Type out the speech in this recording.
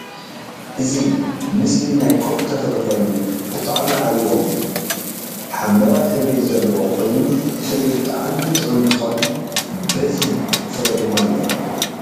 እዚ ምስሊ ናይ ኮክ ተክሊ ኮይኑ ብጣዕሚ ዓብዪ ኦም እየ፡፡ ሓምላዋይ ሕብሪ ዘለዎ ኮይኑ ፍሪኡ ብጣዕሚ ጥዑም እንትኮን ብዚሕ ፍረ ድማ አለዎ፡